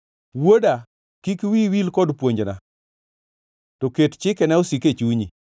Wuoda, kik wiyi wil kod puonjna to ket chikena osik e chunyi,